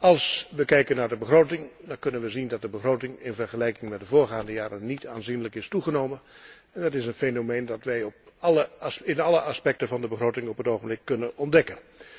Als we kijken naar de begroting, dan zien we dat de begroting in vergelijking met de voorgaande jaren niet aanzienlijk is toegenomen. Dat is een fenomeen dat wij in alle aspecten van de begroting op het ogenblik kunnen ontdekken.